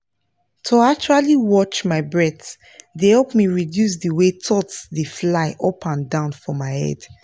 to actually watch my breath dey help me reduce the way thoughts dey fly up and down for my head